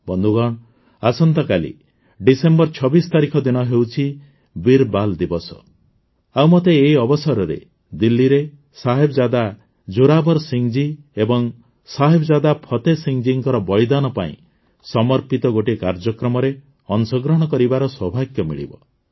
ବନ୍ଧୁଗଣ ଆସନ୍ତାକାଲି ଡିସେମ୍ବର ୨୬ ତାରିଖ ଦିନ ହେଉଛି ବୀର ବାଲ୍ ଦିବସ ଆଉ ମତେ ଏହି ଅବସରରେ ଦିଲ୍ଲୀରେ ସାହେବଜାଦା ଜୋରାବର ସିଂହଜୀ ଏବଂ ସାହେବଜାଦା ଫତେ ସିଂହଜୀଙ୍କ ବଳିଦାନ ପାଇଁ ସମର୍ପିତ ଗୋଟିଏ କାର୍ଯ୍ୟକ୍ରମରେ ଅଂଶଗ୍ରହଣ କରିବାର ସୌଭାଗ୍ୟ ମିଳିବ